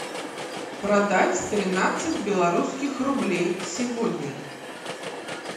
продать тринадцать белорусских рублей сегодня